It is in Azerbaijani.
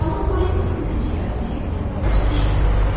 Xanım Polli qızın dediklərini əlbəttə ki, eşitdi.